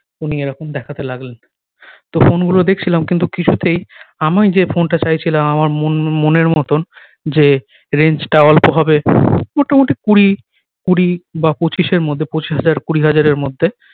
উনি এই রকম দেখাতে লাগলেন তো ফোন গুলো দেখছিলাম কিন্তু কিছুতেই আমি যে ফোন টা চাইছিলাম আমার মন মনের মতন যে range টা অল্প হবে মোটামুটি কুড়ি কুড়ি বা পঁচিশ এর মধ্যে পঁচিশ হাজার কুড়ি হাজার এর মধ্যে